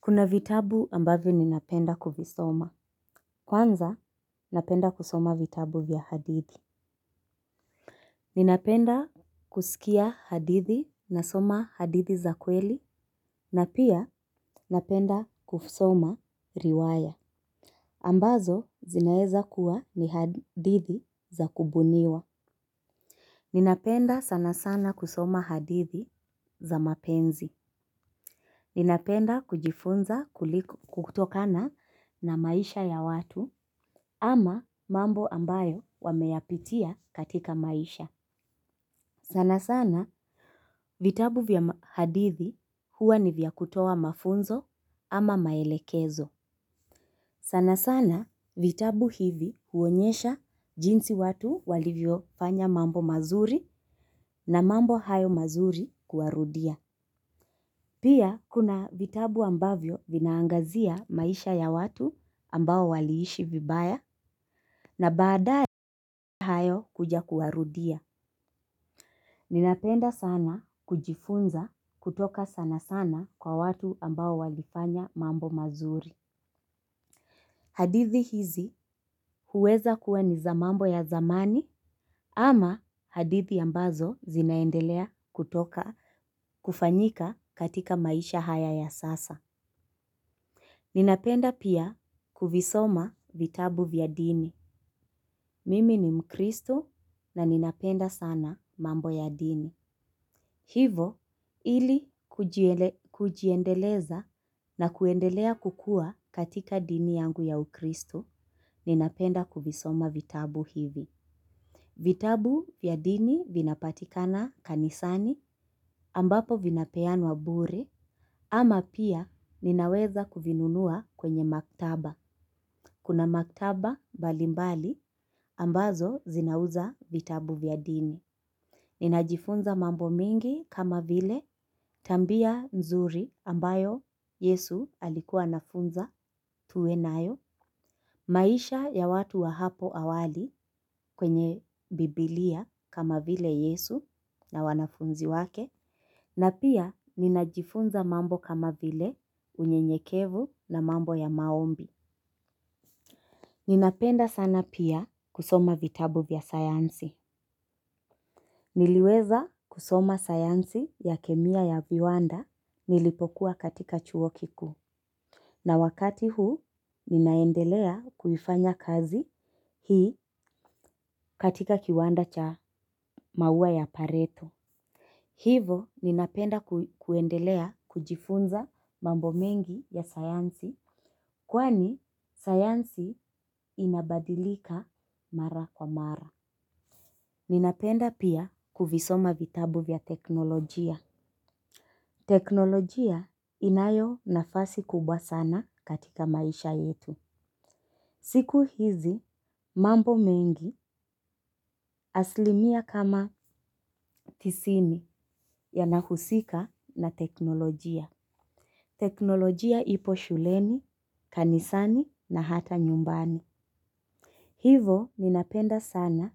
Kuna vitabu ambavyo ninapenda kuvisoma. Kwanza, napenda kusoma vitabu vya hadithi. Ninapenda kusikia hadithi nasoma hadithi za kweli, na pia, napenda kusoma riwaya. Ambazo, zinaezakua ni hadithi za kubuniwa. Ninapenda sanasana kusoma hadithi za mapenzi. Ninapenda kujifunza kutokana na maisha ya watu, ama mambo ambayo wameyapitia katika maisha. Sana sana vitabu vya hadithi huwa ni vya kutowa mafunzo ama maelekezo. Sana sana vitabu hivi huonyesha jinsi watu walivyofanya mambo mazuri na mambo hayo mazuri kuwarudia. Pia kuna vitabu ambavyo vinaangazia maisha ya watu ambao waliishi vibaya na baadaye hayo kuja kuwarudia. Ninapenda sana kujifunza kutoka sana sana kwa watu ambao walifanya mambo mazuri. Hadithi hizi huweza kuwa ni za mambo ya zamani ama hadithi ambazo zinaendelea kutoka kufanyika katika maisha haya ya sasa. Ninapenda pia kuvisoma vitabu vya dini. Mimi ni mkristo na ninapenda sana mambo ya dini. Hivo ili kujiendeleza na kuendelea kukua katika dini yangu ya ukristo, ninapenda kuvisoma vitabu hivi. Vitabu vya dini vinapatikana kanisani ambapo vinapeanwa bure ama pia ninaweza kuvinunua kwenye maktaba. Kuna maktaba balimbali ambazo zinauza vitabu vya dini. Ninajifunza mambo mingi kama vile tambia nzuri ambayo yesu alikua anafunza tuwe nayo. Maisha ya watu wa hapo awali kwenye bibilia kama vile yesu na wanafunzi wake na pia ninajifunza mambo kama vile unyenyekevu na mambo ya maombi. Ninapenda sana pia kusoma vitabu vya sayansi. Niliweza kusoma sayansi ya kemia ya viwanda. Nilipokua katika chuo kikuu na wakati huu ninaendelea kuifanya kazi hii katika kiwanda cha maua ya pareto hivo ninapenda kuendelea kujifunza mambo mengi ya sayansi. Kwani sayansi inabadilika mara kwa mara. Ninapenda pia kuvisoma vitabu vya teknolojia. Teknolojia inayo nafasi kubwa sana katika maisha yetu. Siku hizi mambo mengi aslimia kama tisini yanahusika na teknolojia. Teknolojia ipo shuleni, kanisani na hata nyumbani hivo ninapenda sana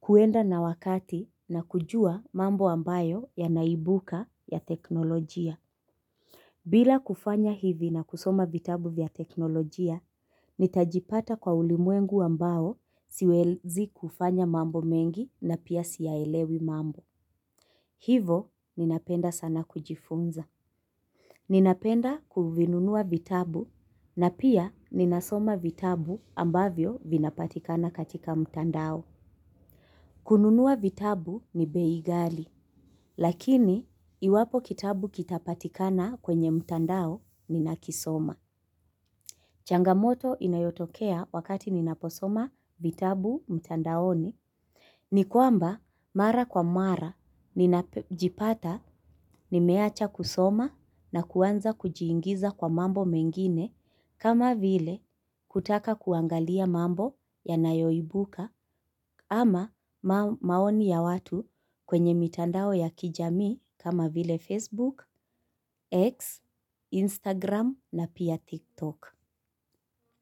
kuenda na wakati na kujua mambo ambayo yanaibuka ya teknolojia. Bila kufanya hivi na kusoma vitabu vya teknolojia, nitajipata kwa ulimwengu ambawo siwezi kufanya mambo mengi na pia siyaelewi mambo. Hivo, ninapenda sana kujifunza. Ninapenda kuvinunua vitabu na pia ninasoma vitabu ambavyo vinapatikana katika mtandao. Kununua vitabu ni bei ghali, lakini iwapo kitabu kitapatikana kwenye mtandao ninakisoma. Changamoto inayotokea wakati ninaposoma vitabu mtandaoni. Ni kwamba mara kwa mara ninajipata nimeacha kusoma na kuanza kujiingiza kwa mambo mengine kama vile kutaka kuangalia mambo yanayoibuka ama maoni ya watu kwenye mitandao ya kijamii kama vile Facebook, X, Instagram na pia TikTok.